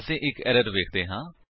ਅਸੀ ਇੱਕ ਐਰਰ ਵੇਖਦੇ ਹਾਂ